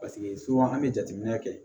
Paseke an bɛ jateminɛ kɛ